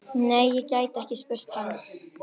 Nei, ég gæti ekki spurt hann.